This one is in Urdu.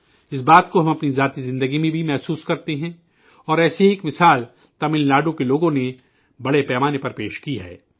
اس بات کو ہم اپنی ذاتی زندگی میں بھی محسوس کرتے ہیں اور ایسی ہی ایک مثال تمل ناڈو کے لوگوں نے بڑے پیمانے پر پیش کی ہے